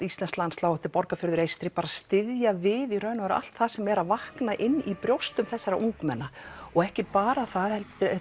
íslenskt landslag þetta er Borgarfjörður Eystri styðja við í raun og veru allt sem vaknar inni í brjóstum þessara ungmenna og ekki bara það heldur